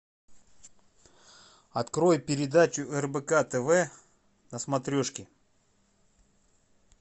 открой передачу рбк тв на смотрешке